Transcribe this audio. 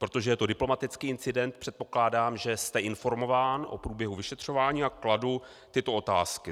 Protože je to diplomatický incident, předpokládám, že jste informován o průběhu vyšetřování, a kladu tyto otázky.